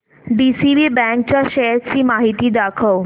DCB bank च्या shares ची माहिती दाखव